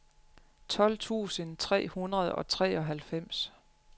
tolv tusind tre hundrede og treoghalvfems